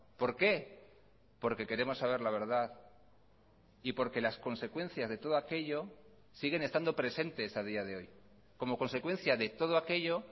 por qué porque queremos saber la verdad y porque las consecuencias de todo aquello siguen estando presentes a día de hoy como consecuencia de todo aquello